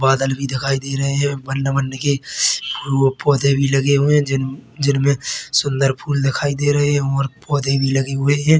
बादल भी दिखाई दे रहे है बन-वन के फु पौधे भी लगे हुए है जिन जिनमे सुंदर फूल दिखाई दे रहे है और पौधे भी लगे हुए है।